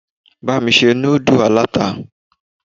Bá mi se núdù aláta.